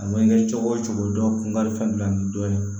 A ma kɛ cogo o cogo dɔn ni dɔ ye